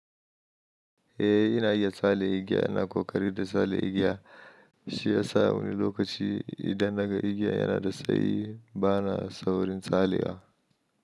Eh, ina iya tsalle igiya ina kuma ƙoƙari da tsalle igiya. Shiyasa wani lokaci idan naga igiya yana da tsayi bana saurin tsallewa.